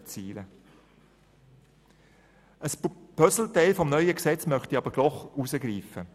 Ein Puzzleteil des neuen Gesetzes möchte ich noch herausgreifen.